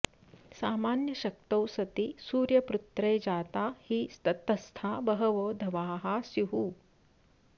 सामान्यशक्तौ सति सूर्यपुत्रे जाता हि तस्था बहवो धवाः स्युः